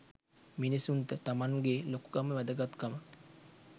මිනිසුන්ට තමන් ගේ ලොකුකම වැදගත්කම